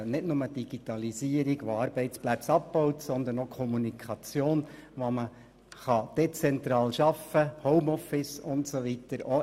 Dies betrifft nicht nur die Digitalisierung, die Arbeitsstellen abbaut, sondern auch die Kommunikation, die dezentrales Arbeiten zum Beispiel über Homeoffice usw. ermöglicht.